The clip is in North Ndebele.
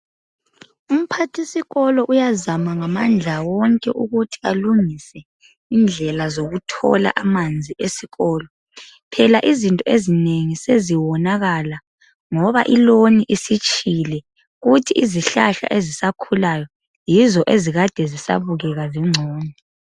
Umphathisikolo uyazama ngamandla wonke ukuthi alungise indlela zokuthola amanzi esikolo. Phela izinto ezinengi, seziwonakala, ngoba ilawn isitshile. Kuthi izihlahla ezisakhulayo, yizo ezikade zisabukeka. Zingcono.